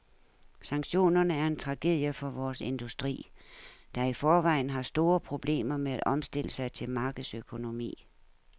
Sanktionerne er en tragedie for vores industri, der i forvejen har store problemer med at omstille sig til markedsøkonomi.